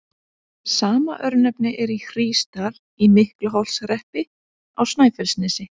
Sama örnefni er í Hrísdal í Miklaholtshreppi á Snæfellsnesi.